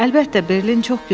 Əlbəttə, Berlin çox gözəldir.